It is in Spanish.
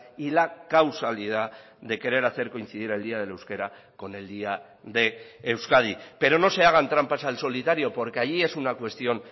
y la causalidad de querer hacer coincidir el día del euskera con el día de euskadi pero no se hagan trampas al solitario porque allí es una cuestión